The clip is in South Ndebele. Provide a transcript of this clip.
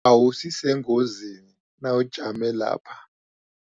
Awusi sengozini nawujame lapha.